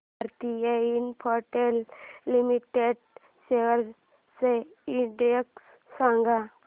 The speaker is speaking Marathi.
भारती इन्फ्राटेल लिमिटेड शेअर्स चा इंडेक्स सांगा